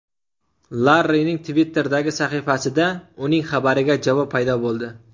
Larrining Twitter’dagi sahifasida uning xabariga javob paydo bo‘ldi.